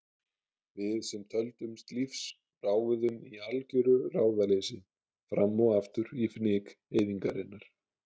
Við sem töldumst lífs ráfuðum í algjöru ráðaleysi fram og aftur í fnyk eyðingarinnar.